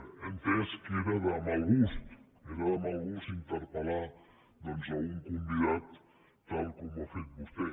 he entès que era de mal gust era de mal gust interpel·lar un convidat tal com ho ha fet vostè